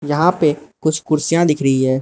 यहां पे कुछ कुर्सियां दिख रही हैं।